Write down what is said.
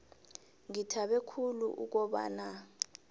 ngithabe khulu ukobana